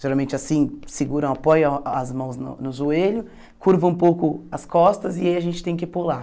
Geralmente assim, segura apoia as mãos no no joelho, curva um pouco as costas e aí a gente tem que pular.